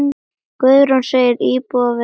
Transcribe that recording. Guðrún segir íbúana vera ósátta.